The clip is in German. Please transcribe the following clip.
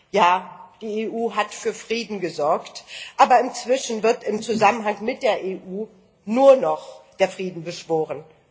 Ja, die EU hat für Frieden gesorgt, aber inzwischen wird im Zusammenhang mit der EU nur noch der Frieden beschworen.